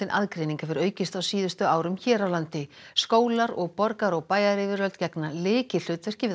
aðgreining hefur aukist á síðustu árum hér á landi skólar og borgar og bæjaryfirvöld gegna lykilhlutverki við